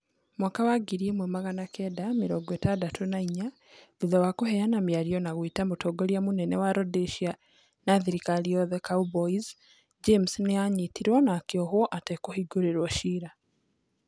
Mwaka wa ngiri ĩmwe magana kenda mĩrongo ĩtandatũ na inya, thutha wa kũheana mĩario na gwĩta mũtongoria mũnene wa Rhodesia na thirikari yothe 'Cowboys' James nĩ aanyitirũo na akĩohwo atekũhingĩrio cira.